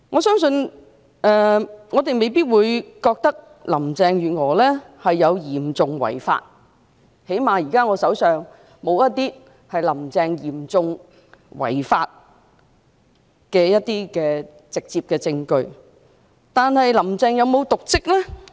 儘管我們未必認為林鄭月娥嚴重違法，至少現時我手上沒有"林鄭"嚴重違法的直接證據，但"林鄭"有否瀆職呢？